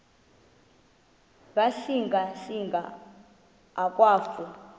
ngasinga singa akwafu